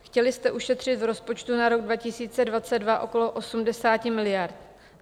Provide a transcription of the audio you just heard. Chtěli jste ušetřit v rozpočtu na rok 2022 okolo 80 miliard.